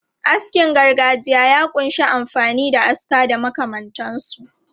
Askin gargajiya ya kunshi amfani da aska da makamantansu.